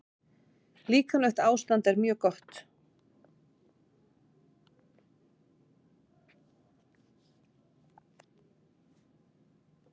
Líkamlegt ástand er mjög gott.